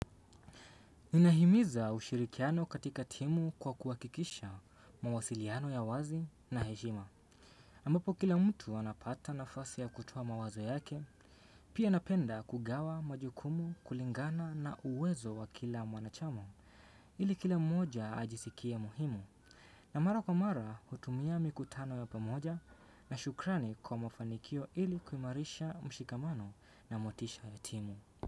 Inahimiza ushirikiano katika timu kwa kuhakikisha mawasiliano ya wazi na heshima. Ambapo kila mtu anapata nafasi ya kutoa mawazo yake, pia napenda kugawa majukumu kulingana na uwezo wa kila mwanachama ili kila mmoja ajisikie muhimu. Na mara kwa mara hutumia mikutano ya pamoja na shukrani kwa mafanikio ili kuimarisha mshikamano na motisha ya timu.